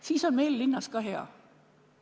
Siis on meil linnas ka hea.